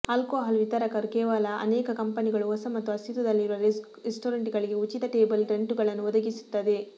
alcohol ವಿತರಕರು ಕೇವಲ ಅನೇಕ ಕಂಪನಿಗಳು ಹೊಸ ಮತ್ತು ಅಸ್ತಿತ್ವದಲ್ಲಿರುವ ರೆಸ್ಟೋರೆಂಟ್ಗಳಿಗೆ ಉಚಿತ ಟೇಬಲ್ ಟೆಂಟುಗಳನ್ನು ಒದಗಿಸುತ್ತದೆ